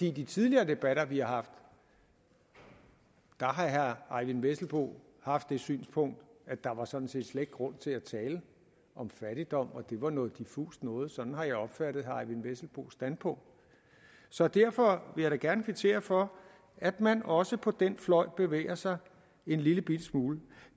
i de tidligere debatter vi har haft har herre eyvind vesselbo haft det synspunkt at der sådan set slet grund til at tale om fattigdom og at det var noget diffust noget sådan har jeg opfattet herre eyvind vesselbos standpunkt så derfor vil jeg da gerne kvittere for at man også på den fløj bevæger sig en lillebitte smule